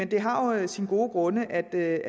det har jo sine gode grunde at det